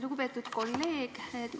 Lugupeetud kolleeg!